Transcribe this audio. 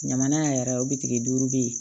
Jamana yɛrɛ o bitigi duuru bɛ yen